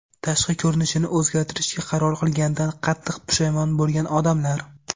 Tashqi ko‘rinishini o‘zgartirishga qaror qilganidan qattiq pushaymon bo‘lgan odamlar .